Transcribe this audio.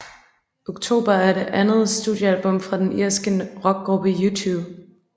October er det andet studiealbum fra den irske rockgruppe U2